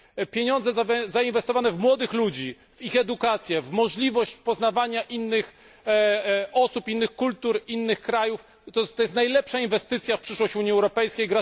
Pieniądze zainwestowane w młodych ludzi, ich edukację, w możliwość poznawania innych osób, innych kultur, innych krajów, to jest najlepsza inwestycja w przyszłość Unii Europejskiej.